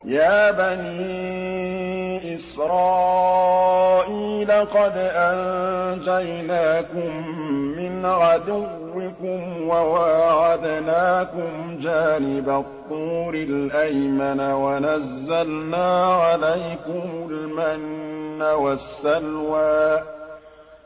يَا بَنِي إِسْرَائِيلَ قَدْ أَنجَيْنَاكُم مِّنْ عَدُوِّكُمْ وَوَاعَدْنَاكُمْ جَانِبَ الطُّورِ الْأَيْمَنَ وَنَزَّلْنَا عَلَيْكُمُ الْمَنَّ وَالسَّلْوَىٰ